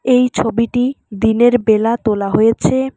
এই ছবিটি দিনের বেলা তোলা হয়েছে।